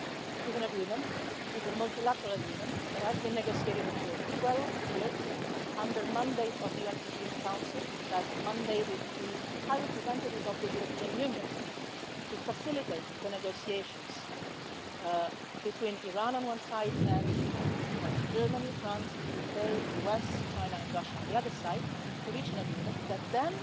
It is a multilateral agreement that was negotiated for 12 years under the mandate of the UN Security Council, which mandated the High Representative of the European Union to facilitate the negotiations between Iran, on one side, and Germany, France, the UK, the US, China and Russia, on the other side, to reach an agreement that then